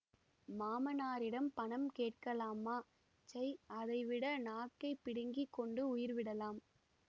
மாமனாரிடம் பணம் கேட்கலாமா சை அதைவிட நாக்கைப் பிடுங்கி கொண்டு உயிர் விடலாம்